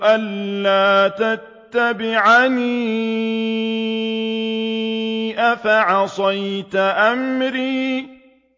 أَلَّا تَتَّبِعَنِ ۖ أَفَعَصَيْتَ أَمْرِي